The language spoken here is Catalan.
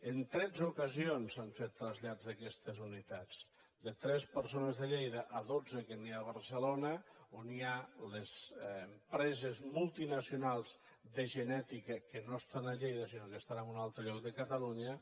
en tretze ocasions s’han fet trasllats d’aquestes unitats de tres persones de lleida a dotze que n’hi ha a barcelona on hi ha les empreses multinacionals de genètica que no estan a lleida sinó que estan en un altre lloc de catalunya